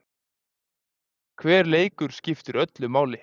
Hver leikur skiptir öllu máli.